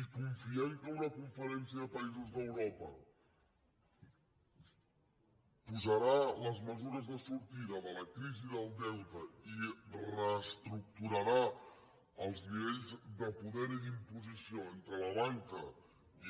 i confiar que una conferència de països d’europa posarà les mesures de sortida de la crisi del deute i reestructurarà els nivells de poder i d’imposició entre la banca